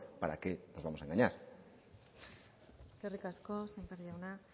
para qué nos vamos a engañar eskerrik asko sémper jauna